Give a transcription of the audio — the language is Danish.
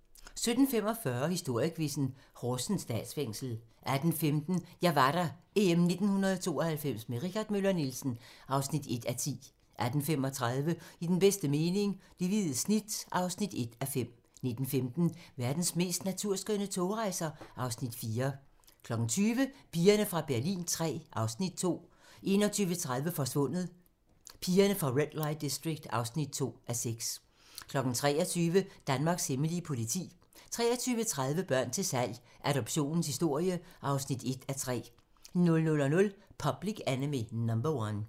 17:45: Historiequizzen: Horsens Statsfængsel 18:15: Jeg var der - EM 1992 med Richard Møller Nielsen (1:10) 18:35: I den bedste mening - Det hvide snit (1:5) 19:15: Verdens mest naturskønne togrejser (Afs. 4) 20:00: Pigerne fra Berlin III (Afs. 2) 21:30: Forsvundet: Pigerne fra Red Light District (2:6) 23:00: Danmarks hemmelige politi 23:30: Børn til salg - Adoptionens historie (1:3) 00:00: Public Enemy No 1